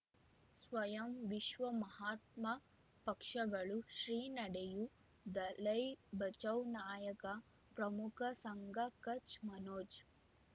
ಸ್ವಯಂ ವಿಶ್ವ ಮಹಾತ್ಮ ಪಕ್ಷಗಳು ಶ್ರೀ ನಡೆಯೂ ದಲೈ ಬಚೌ ನಾಯಕ ಪ್ರಮುಖ ಸಂಘ ಕಚ್ ಮನೋಜ್